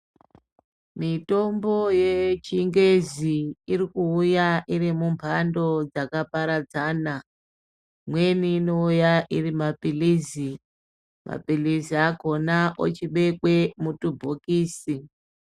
Mitombo ye chingezi iri kuuya iri mu mbando dzaka paradzana imweni ino uya iri mapilizi mapilizi akona ochi bekwe mutu bhokisi.